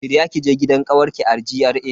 Shirya kije gidan kawarki a GRA.